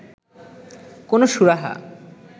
কোনো সুরাহা